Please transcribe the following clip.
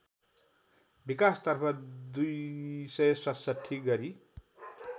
विकासतर्फ २६७ गरी